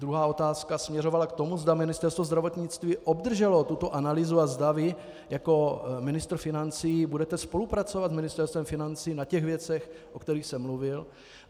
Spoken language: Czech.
Druhá otázka směřovala k tomu, zda Ministerstvo zdravotnictví obdrželo tuto analýzu a zda vy jako ministr financí budete spolupracovat s Ministerstvem financí na těch věcech, o kterých jsem mluvil.